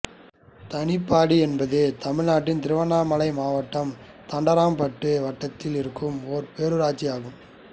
தானிப்பாடி என்பது தமிழ் நாட்டின் திருவண்ணாமலை மாவட்டத்தில் தண்டராம்பட்டு வட்டத்தில் இருக்கும் ஒரு பேரூராட்சி ஆகும்